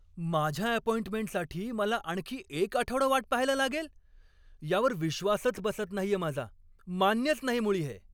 माझ्या अपॉइंटमेंटसाठी मला आणखी एक आठवडा वाट पाहायला लागेल यावर विश्वासच बसत नाहीये माझा. मान्यच नाही मुळी हे.